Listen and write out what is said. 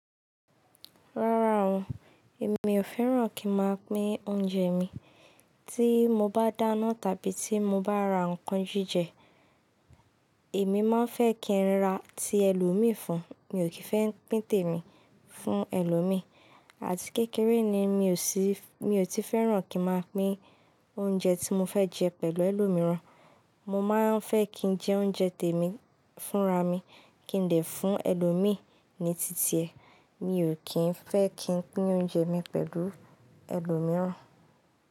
Rárá o, èmi ò fẹ́ràn kí n máa pín oúnjẹ mi. Tí mo bá dáná tàbí tí mo bá ra nnkan jíjẹ, èmi máa fẹ́ kí n ra ti ẹlòmíì fún, mi ò kí fẹ́ pín tèmi fún ẹlòmíì. Àti kékeré ni mi ò tí fẹ́ràn kí n máa pín oúnjẹ tí mo fẹ́ jẹ pẹ̀lú ẹlòmíì ran. Mo máa ń fẹ́ kí jẹ oúnjẹ tèmi fúnra mi kí n lè fún ẹlòmíì ní titi ẹ. Mi ò kí ń fẹ́ kí n pín oúnjẹ mi pẹ̀lú ẹlòmíì ran.